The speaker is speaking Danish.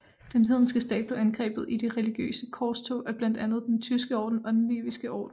Den hedenske stat blev angrebet i de religiøse korstog af blandt andet den Tyske Orden og Den Liviske Orden